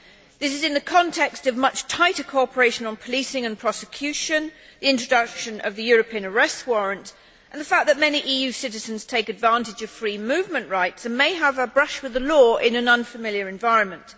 This is in the context of much tighter cooperation on policing and prosecution, the introduction of the European arrest warrant and the fact that many EU citizens take advantage of free movement rights and may have a brush with the law in an unfamiliar environment.